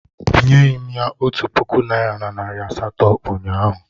Enyeghị m ya otu puku naịra na nari asatọ ụnyahụ